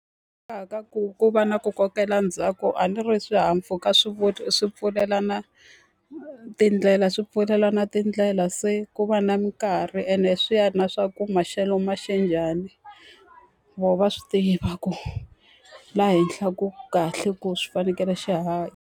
ku ku va na ku kokela ndzhaku a ni ri swihahampfuka swi pfulelana tindlela swi pfulelana tindlela se ku va na minkarhi, ene swi ya na swa ku maxelo ma xe njhani. Vona va swi tiva ku laha henhla ku kahle ku swi fanekele xi haha.